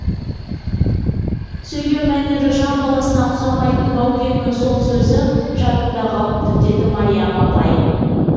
сөйлеу мәнері жан баласына ұқсамайтын баукеңнің сол сөзі жадымда қалыпты деді мариям апай